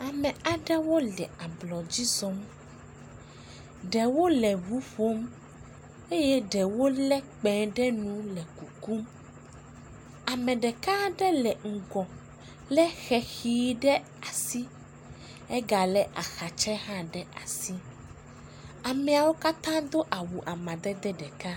Ame aɖewo le ablɔdzi zɔm. ɖewo le ŋu ƒom eye ɖewo lé kpẽ ɖe nu le kukum. Ame ɖekaa ɖe le ŋgɔ lé xexii ɖe asi. Egalé ahatsɛ hã ɖe asi. Ameawo katã do awu amadede ɖeka.